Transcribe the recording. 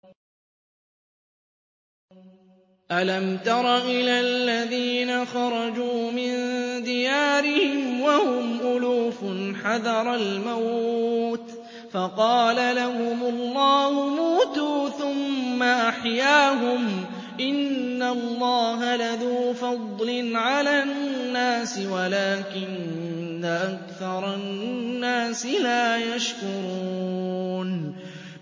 ۞ أَلَمْ تَرَ إِلَى الَّذِينَ خَرَجُوا مِن دِيَارِهِمْ وَهُمْ أُلُوفٌ حَذَرَ الْمَوْتِ فَقَالَ لَهُمُ اللَّهُ مُوتُوا ثُمَّ أَحْيَاهُمْ ۚ إِنَّ اللَّهَ لَذُو فَضْلٍ عَلَى النَّاسِ وَلَٰكِنَّ أَكْثَرَ النَّاسِ لَا يَشْكُرُونَ